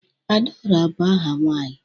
Adaora bu aha nwanyi